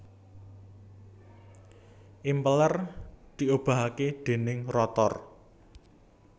Impeller diobahake déning rotor